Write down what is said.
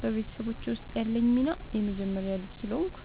በቤተሰቦቼ ውስጥ ያለኝ ሚና የመጀመሪያ ልጅ ስለሆንኩ